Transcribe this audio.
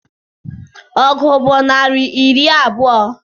Ọgụ bụ naịra iri abụọ